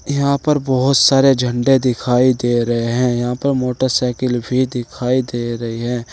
यहां पर बहुत सारे झंडे दिखाई दे रहे हैं यहां पर मोटरसाइकिल भी दिखाई दे रही हैं।